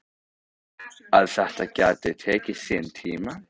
Að þetta geti tekið sinn tíma.